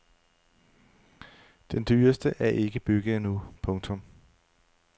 Den dyreste er ikke bygget endnu. punktum